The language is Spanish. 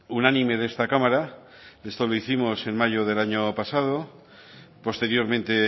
unánime de esta cámara esto lo hicimos en mayo del año pasado posteriormente